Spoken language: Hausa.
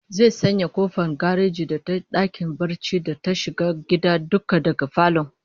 Zai sanya kofar gareji da ta dakin barci da ta shiga gida duka daga falon